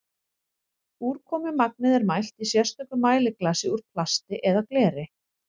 úrkomumagnið er mælt í sérstöku mæliglasi úr plasti eða gleri